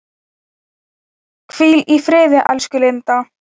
Hvíl í friði, elsku Linda.